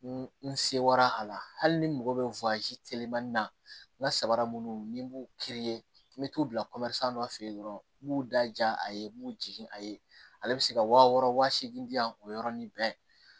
N sewa a la hali ni mago bɛ na n ka sabara munnu ni n b'u n bɛ t'u bila dɔ fɛ yen nɔ n b'u da ja a ye n b'u jigin a ye ale bɛ se ka waa wɔɔrɔ wa seegin di yan o yɔrɔnin bɛɛ ye